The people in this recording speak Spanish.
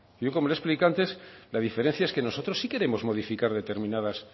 yo como le he explicado antes la diferencia es que nosotros sí queremos modificar determinados